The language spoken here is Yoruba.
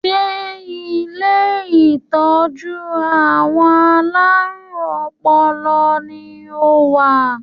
Ṣé ilé ìtọ́jú àwọn alárùn ọpọlọ ni o wà?